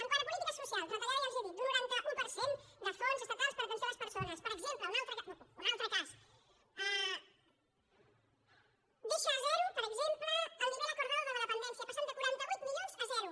quant a polítiques socials retallada ja els ho he dit d’un noranta un per cent de fons estatals per a atenció a les persones per exemple un altre cas deixa a zero per exemple el nivel acordadopendència que passa de quaranta vuit milions a zero